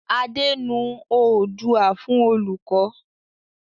Adé nu oodua fún olùkọ́.